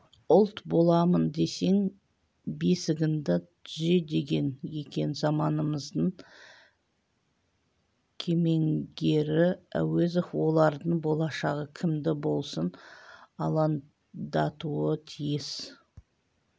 ұлт боламын десең бесігіңді түзе деген екен заманымыздың кемеңгері әуезов олардың болашағы кімді болсын алаңдатуы тиіс